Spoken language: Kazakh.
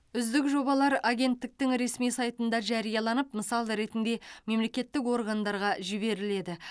үздік жобалар агенттіктің ресми сайтында жарияланып мысал ретінде мемлекеттік органдарға жіберіледі